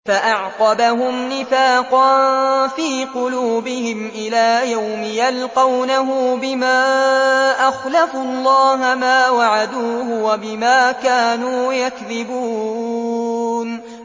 فَأَعْقَبَهُمْ نِفَاقًا فِي قُلُوبِهِمْ إِلَىٰ يَوْمِ يَلْقَوْنَهُ بِمَا أَخْلَفُوا اللَّهَ مَا وَعَدُوهُ وَبِمَا كَانُوا يَكْذِبُونَ